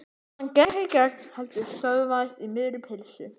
Hann gekk ekki í gegn heldur stöðvaðist í miðri pylsu.